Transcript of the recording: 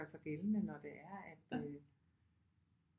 Gør sig gældende når det er at